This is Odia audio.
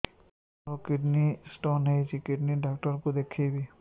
ମୋର କିଡନୀ ସ୍ଟୋନ୍ ହେଇଛି କିଡନୀ ଡକ୍ଟର କୁ ଦେଖାଇବି